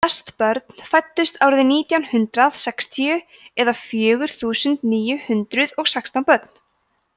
flest börn fæddust árið nítján hundrað sextíu eða fjögur þúsund níu hundruð og sextán börn